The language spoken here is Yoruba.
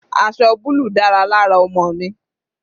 Aṣọ búlù dára lára ọmọ mi.